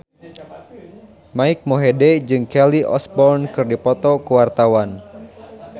Mike Mohede jeung Kelly Osbourne keur dipoto ku wartawan